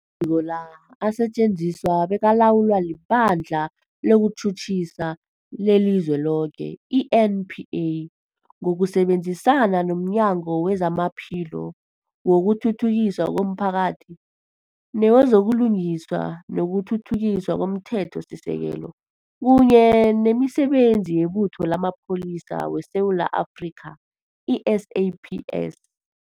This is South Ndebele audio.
Amaziko la asetjenziswa bekalawulwa liBandla lezokuTjhutjhisa leliZweloke, i-NPA, ngokusebenzisana nomnyango wezamaPhilo, wokuthuthukiswa komphakathi newezo buLungiswa nokuThuthukiswa komThethosisekelo, kunye nemiSebenzi yeButho lamaPholisa weSewula Afrika, i-SAPS.